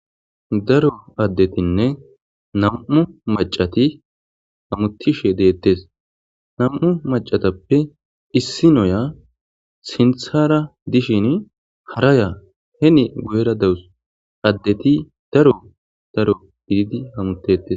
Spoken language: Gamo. Daro adetinne nam'u macati hamutishe detes nam'u macatape issinoya sinthara dishin hara hen guyera dawus adeti daro daro gididi hamutetes